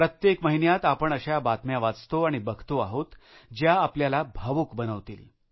प्रत्येक महिन्यात आपण अशा बातम्या वाचतो आणि बघतो आहोत ज्या आपल्याला भावूक बनवतील